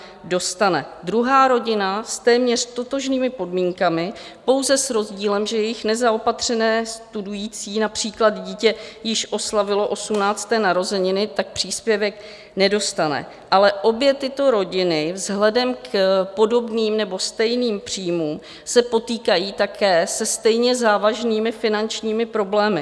Druhá rodina s téměř totožnými podmínkami, pouze s rozdílem, že jejich nezaopatřené studující dítě již oslavilo 18. narozeniny, tak příspěvek nedostane, ale obě tyto rodiny vzhledem k podobným nebo stejným příjmům se potýkají také se stejně závažnými finančními problémy.